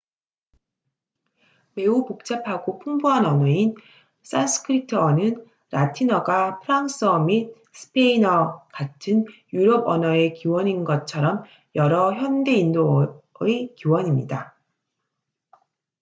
매우 복잡하고 풍부한 언어인 산스크리트어sanskrit는 라틴어가 프랑스어 및 스페인어 같은 유럽 언어의 기원인 것처럼 여러 현대 인도어의 기원입니다